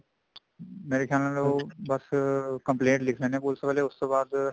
ਮੇਰੇ ਖਿਆਲ ਨਾਲ ਉਹ ਬੱਸ compliant ਲਿਖਦੇ ਨੇ ਪੁਲਸ ਵਾਲੇ ਉਹਤੋਂ ਬਾਅਦ